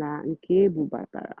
nà nkè ébúbátárá.